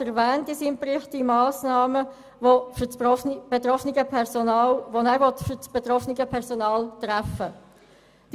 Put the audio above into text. Der Regierungsrat erwähnt in seinem Bericht die Massnahmen, welche er für das betroffene Personal treffen will.